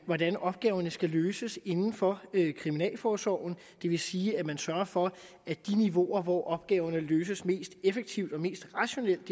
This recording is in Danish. hvordan opgaverne skal løses inden for kriminalforsorgen det vil sige at man sørger for at de niveauer hvor opgaverne løses mest effektivt og mest rationelt